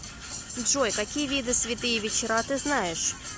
джой какие виды святые вечера ты знаешь